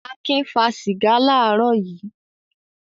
Akin fà sìgá láàárọ̀ yìí?